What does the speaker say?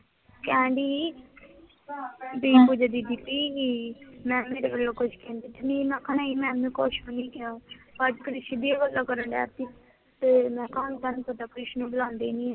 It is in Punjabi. ਕਹਿਣ ਡੇਈ ਸੀ ਬੀ ਪੂਜਾ ਦੀਦੀ ਬੀ ਕਿ ਮੈਮ ਨੇ ਕੁਛ ਕਹਿੰਦੇ ਤਾਂ ਨੀ? ਮੈਂ ਆਖਿਆ ਨੀ ਮੈਮ ਨੇ ਕੁਛ ਨੀ ਕਿਹਾ, ਅੱਜ ਕ੍ਰਿਸ਼ ਦੀ ਵੱਲੋਂ ਕਰਣ ਡੇਆ ਸੀ ਮੈਂ ਕਿਹਾ ਓਹਨੂੰ ਤਾਂ ਨੀ ਪਤਾ, ਕ੍ਰਿਸ਼ ਨੂੰ ਬੁਲਾਂਦੇ ਹੀ ਨੀ